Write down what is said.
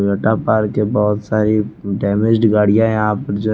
Toyota park के बहोत सारी डैमेज्ड गाड़ियां हैं यहां पर--